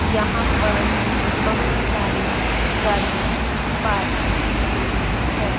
यहां पर बहुत सारी गाड़ियां पार्क की गई हैं।